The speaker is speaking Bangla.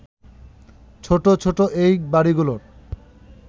ছোট ছোট এই বাড়িগুলোর